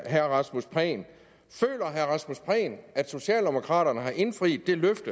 herre rasmus prehn at socialdemokraterne har indfriet det løfte